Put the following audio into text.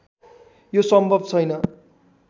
यो सम्भव छैन